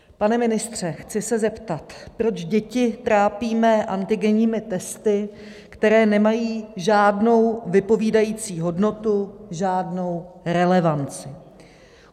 Pane ministře, chci se zeptat, proč děti trápíme antigenními testy, které nemají žádnou vypovídající hodnotu, žádnou relevanci.